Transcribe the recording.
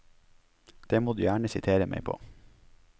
Det må du gjerne sitere meg på.